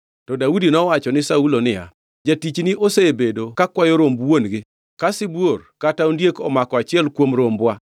To Daudi nowacho ni Saulo niya, “Jatichni osebedo kakwayo romb wuon-gi. Ka sibuor kata ondiek omako achiel kuom rombwa,